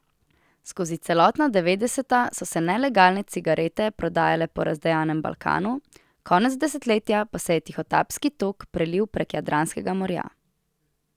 Skozi celotna devetdeseta so se nelegalne cigarete prodajale po razdejanem Balkanu, konec desetletja pa se je tihotapski tok prelil prek Jadranskega morja.